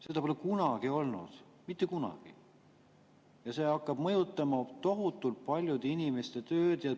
Seda pole kunagi olnud, mitte kunagi, ja see hakkab tohutult mõjutama paljude inimeste tööd.